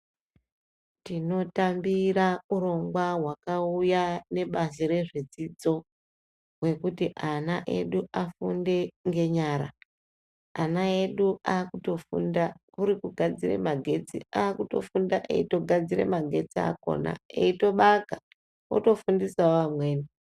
Tinotambira urongwa hwakauya nebazi rezvedzidzo rekuti ana edu afunde ngenyara , ana edu akutofunda kuri kugadzire magetsi akutofunda eitogadzira magetsi akona eitobaka otofundisawo amweni.